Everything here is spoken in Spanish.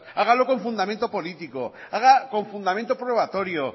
hágalo con fundamento político haga con fundamento probatorio